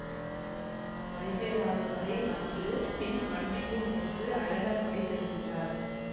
வைகை ஆறு வரை வந்து பின் வண்டியூர் சென்று அழகர்மலை திரும்புகிறார்